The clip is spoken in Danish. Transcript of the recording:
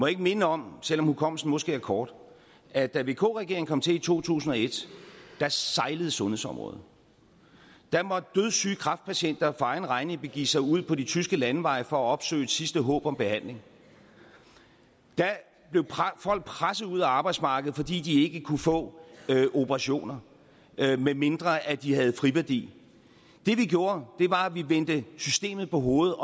ikke minde om selv om hukommelsen måske er kort at da vk regeringen kom til i to tusind og et sejlede sundhedsområdet da måtte dødssyge kræftpatienter for egen regning begive sig ud på de tyske landeveje for at opsøge et sidste håb om behandling da blev folk presset ud af arbejdsmarkedet fordi de ikke kunne få operationer medmindre de havde friværdi det vi gjorde var at vi vendte systemet på hovedet